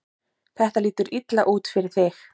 Þetta lítur illa út fyrir þig